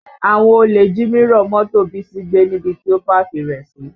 Àwọn olè jí mírọ̀ mọ́tò Bísí gbé níbi tí ó pákì rẹ̀ sí